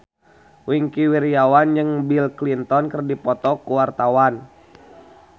Wingky Wiryawan jeung Bill Clinton keur dipoto ku wartawan